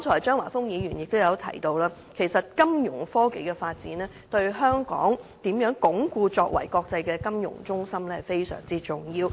張華峰議員剛才也提到，金融科技的發展對鞏固香港國際金融中心的地位相當重要。